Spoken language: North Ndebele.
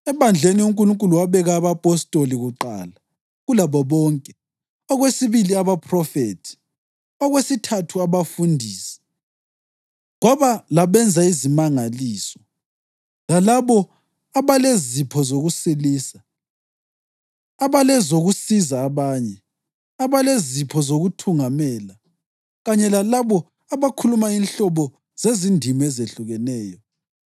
Ebandleni uNkulunkulu wabeka abapostoli kuqala kulabo bonke, okwesibili abaphrofethi, okwesithathu abafundisi, kwaba labenza izimangaliso, lalabo abalezipho zokusilisa, abalezokusiza abanye, abalezipho zokuthungamela, kanye lalabo abakhuluma inhlobo zezindimi ezehlukeneyo.